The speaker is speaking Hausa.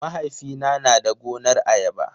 Mahaifina na da gonar ayaba.